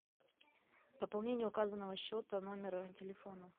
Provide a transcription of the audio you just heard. пополнение указанного счета номера телефона